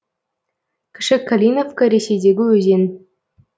кіші калиновка ресейдегі өзен